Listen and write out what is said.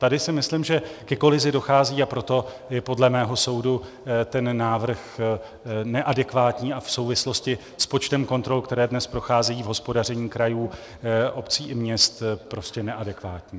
Tady si myslím, že ke kolizi dochází, a proto je podle mého soudu ten návrh neadekvátní a v souvislosti s počtem kontrol, které dnes procházejí v hospodaření krajů, obcí i měst, prostě neadekvátní.